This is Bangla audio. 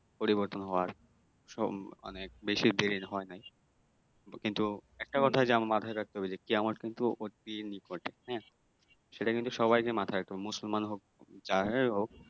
পরিবর্তন হওয়ার সব অনেক বেশি হওয়ায় নাকি কিন্তু একটা কথা যে মাথায় রাখতে হবে যে কি আমার কিন্তু নিকটে হ্যাঁ সেটা কিন্তু সবাইকে মাথায় রাখতে হবে মুসলমান হোক যারাই হোক